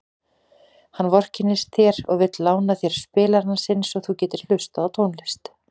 Hann vorkennir þér og vill lána þér spilarann sinn svo þú getir hlustað á tónlist.